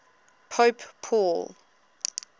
pope paul